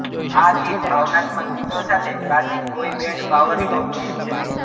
આ ગીત ભાવનાત્મક ગીતો સાથે ક્લાસિક બોય બૅન્ડ પાવર લોકગીત છે